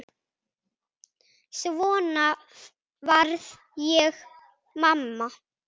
Svo varð ég mamma.